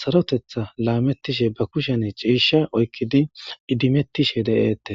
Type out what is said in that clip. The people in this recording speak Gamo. saroththeta laametishe ba kushiya ciisha oykidi idimetishe de7eetees.